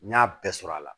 N y'a bɛɛ sɔrɔ a la